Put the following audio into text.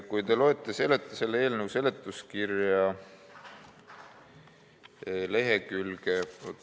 Kui te loete selle eelnõu seletuskirja lehekülge ...